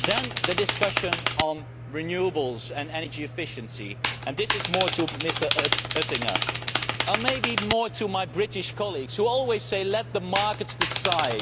Then, the discussion on renewables and energy efficiency this is more to Mr Oettinger, or maybe more to my British colleagues who always say let the markets decide